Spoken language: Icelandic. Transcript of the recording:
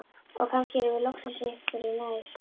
Og kannski erum við loksins einhverju nær.